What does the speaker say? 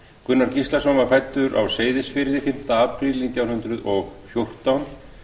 gunnar gíslason var fæddur á seyðisfirði fimmti apríl nítján hundruð og fjórtán